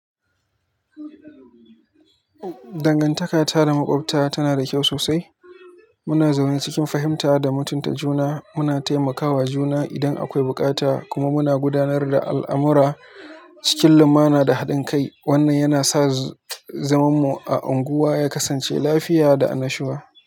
Dangantakata da makwabta tanada kyau sosai. Muna zaune cikin fahimta da mutunta juna. Muna taimakawa juna idan akwai bukata kuma muna gudanar da al'amura cikin lumana da haɗin kai. Wannan yana sa zamanmu a unguwa ya kasance lafiya da annashuwa.